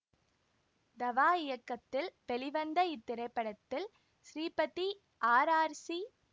தவா இயக்கத்தில் வெளிவந்த இத்திரைப்படத்தில் ஸ்ரீபதி ஆர் ஆர் சி